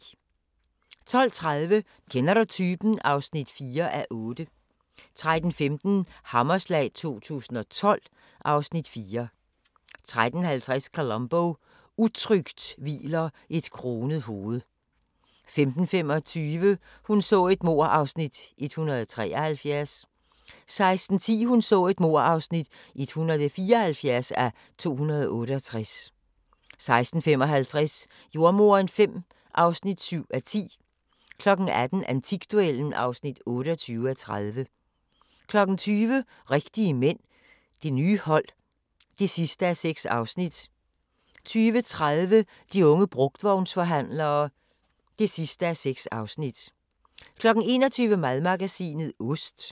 12:30: Kender du typen? (4:8) 13:15: Hammerslag 2012 (Afs. 4) 13:50: Columbo: Utrygt hviler et kronet hoved 15:25: Hun så et mord (173:268) 16:10: Hun så et mord (174:268) 16:55: Jordemoderen V (7:10) 18:00: Antikduellen (28:30) 20:00: Rigtige mænd – det nye hold (6:6) 20:30: De unge brugtvognsforhandlere (6:6) 21:00: Madmagasinet – Ost